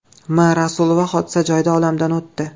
M. Rasulova hodisa joyida olamdan o‘tdi.